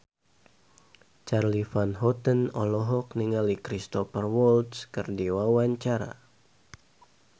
Charly Van Houten olohok ningali Cristhoper Waltz keur diwawancara